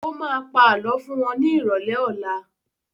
Ó má pa Àlọ́ fún wọn ní ìrọ̀lẹ́ ọlá